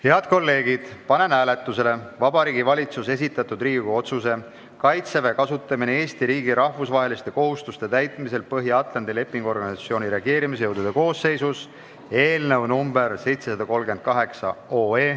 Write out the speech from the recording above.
Head kolleegid, panen hääletusele Vabariigi Valitsuse esitatud Riigikogu otsuse "Kaitseväe kasutamine Eesti riigi rahvusvaheliste kohustuste täitmisel Põhja-Atlandi Lepingu Organisatsiooni reageerimisjõudude koosseisus" eelnõu 738.